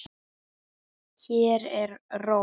Hér er ró.